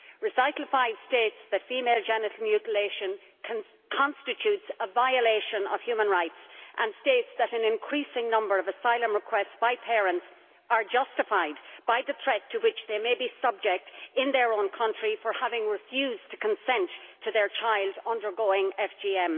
Recital 5 states that female genital mutilation constitutes a violation of human rights and that an increasing number of asylum requests by parents are justified by the threat to which they may be subject in their own country for having refused to consent to their child undergoing FGM.